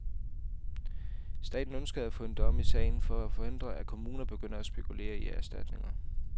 Staten ønskede af få en dom i sagen for at forhindre, at kommuner begynder at spekulere i erstatninger.